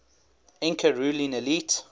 inca ruling elite